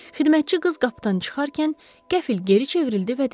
Xidmətçi qız qapıdan çıxarkən qəfil geri çevrildi və dedi: